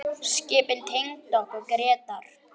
Skipin tengdu okkur Grétar.